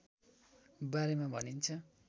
बारेमा भनिन्छ